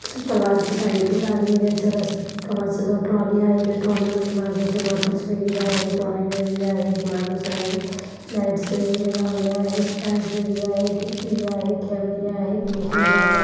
super market आहे इथे जाण्यायेण्याचा रस्ता आहे एका माणसाजवळ ट्रोली आहे त्या ट्रोली मध्ये माझाच्या बॉटल्स वगैरे आहेत ऑरेंज वगैरे आहे एक माणूस आहे लाईट्स वगैरे लावले आहेत फँस वगैरे आहे एक टी_व्ही आहे कैमरे आहे मोकळी जागा --